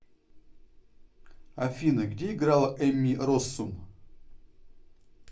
афина где играла эмми россум